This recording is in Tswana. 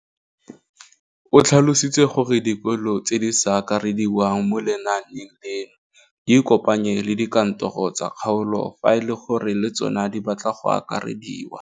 O tlhalositse gore dikolo tse di sa akarediwang mo lenaaneng leno di ikopanye le dikantoro tsa kgaolo fa e le gore le tsona di batla go akarediwa.